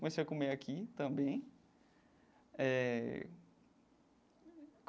Comecei a comer aqui também eh.